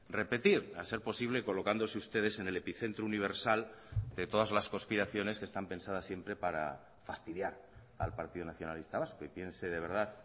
repetir a ser posible colocándose ustedes en el epicentro universal de todas las conspiraciones que están pensadas siempre para fastidiar al partido nacionalista vasco y piense de verdad